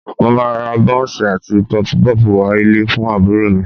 Mo máa ra bọ́ńsì àti Pọfupọ́ọ̀fù wá ilé fún àbúrò mi